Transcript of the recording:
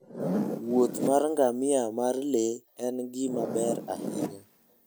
Wuoth mar ngamia mar le en gima ber ahinya.